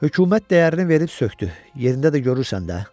Hökumət dəyərini verib sökdü, yerində də görürsən də.